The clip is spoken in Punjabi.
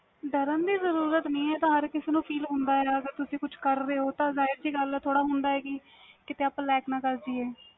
ਡਰਨ ਦੀ ਜ਼ੁਰੂਰਤ ਨਹੀਂ ਹੁੰਦੀ ਅਗਰ ਤੁਸੀ ਕੁਛ ਕਰ ਰਹੇ ਹੋ ਤਾ feel ਜਾਹਿਰ ਜੀ ਗੱਲ ਵ ਥੋੜ੍ਹਾ ਹੁੰਦਾ ਵ ਕਿ ਕੀਤੇ ਅਸੀਂ lack ਨਾ ਕਰ ਜੇਹੀਏ